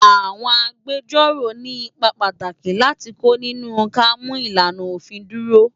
Awòn Ágbèjòró ni ipá pàtáki láti kó ninú ká mú ilánà ófin dúró